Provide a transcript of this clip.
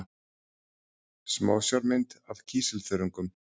Smásjármynd af kísilþörungum.